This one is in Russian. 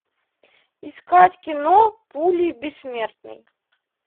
искать кино пули бессмертный